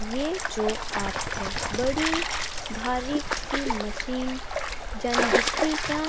ये जो आपथे बड़ी भारी सी मशीन जन दिखणी चा --